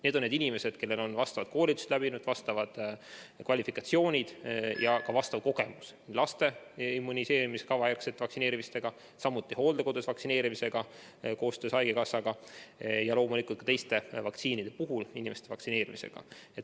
Need on need inimesed, kellel on vastavad koolitused läbitud, vastavad kvalifikatsioonid omandatud ja olemas on ka vastav kogemus laste immuniseerimiskava järgse vaktsineerimisega, samuti hooldekodus vaktsineerimisega ja loomulikult ka teiste vaktsiinide puhul inimeste vaktsineerimisega.